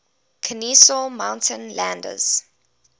kenesaw mountain landis